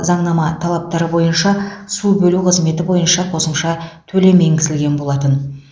заңнама талаптары бойынша су бөлу қызметі бойынша қосымша төлем енгізілген болатын